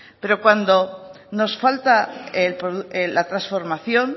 pero cuando nos falta la transformación